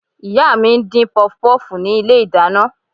Ìyá mi ń dín pọpọ́fùù ní ilé-ìdáná